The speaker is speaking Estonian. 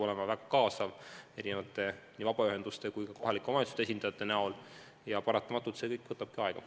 Sinna tuleb kaasata nii vabaühenduste kui ka kohalike omavalitsuste esindajaid ja paratamatult see kõik võtab aega.